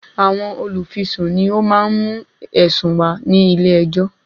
Àwọn olùfisùn ni ó má ń mú ẹ̀sùn wá sí ilẹ̀ ẹjọ́.